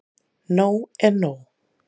Nóg er nóg.